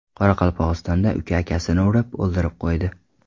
Qoraqalpog‘istonda uka akasini urib, o‘ldirib qo‘ydi.